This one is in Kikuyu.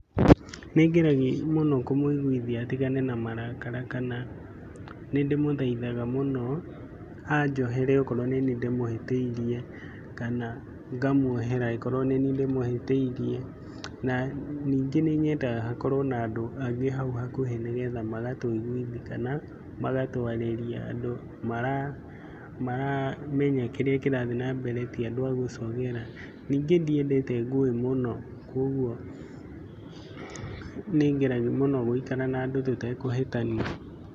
Nĩ ngeragia mũno kũmũiguithia atigane na marakara kana nĩ ndĩmũthaithaga mũno, anjohere okoro nĩni ndĩmũhĩtĩirie kana ngamuohera angĩkorwo nĩni ndĩmũhĩtĩirie. Na ningĩ nĩ nyendaga hakorwo na andũ angĩ hau hakuhĩ nĩ getha magatũiguthi kana magatwarĩria, andũ maramenya kĩrĩa kĩrathi nambere ti andũ a gũcogera. Ningĩ ndiendete ngũĩ mũno, kwoguo nĩ ngeragia mũno gũikara na andũ tũtekũhĩtania.